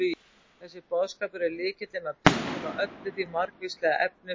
Þessi boðskapur er lykillinn að túlkun á öllu því margvíslega efni sem